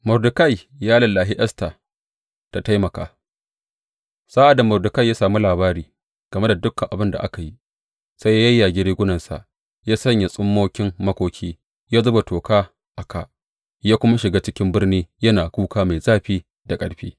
Mordekai ya lallashi Esta ta taimaka Sa’ad da Mordekai ya sami labari game da dukan abin da aka yi, sai ya yayyage rigunansa, ya sanya tsummokin makoki, ya zuba toka a kā, ya kuma shiga ciki birni yana kuka mai zafi da ƙarfi.